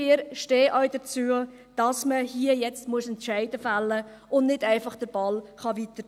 Wir stehen auch dazu, dass man hier und jetzt Entscheide fällen muss und den Ball nicht einfach weiterspielen kann.